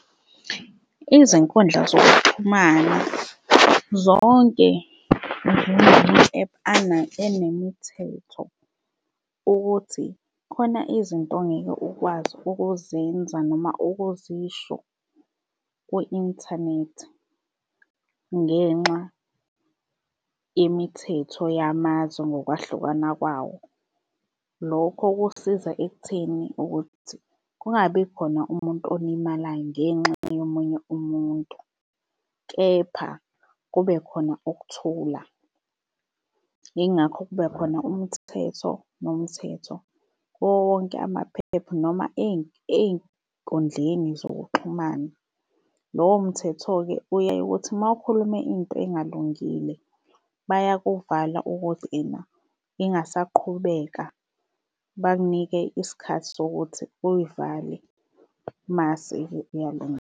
Izinkundla zokuxhumana zonke njengama-ephu enemithetho ukuthi khona izinto ongeke ukwazi ukuzenza noma ukuzisho kwi-inthanethi ngenxa yemithetho yamazwe ngokwahlukana kwawo. Lokho kusiza ekutheni ukuthi kungabi khona umuntu olimalayo ngenxa yomunye umuntu, kepha kube khona ukuthula. Yingakho kube khona umthetho nomthetho kuwo wonke ama-ephu noma ey'nkundleni zokuxhumana. Lowo mthetho-ke uye uthi uma ukhuluma into engalungile bayakuvala ukuthi ena ingasaqhubeka bakunike isikhathi sokuthi uyivale mase-ke kuyalunga.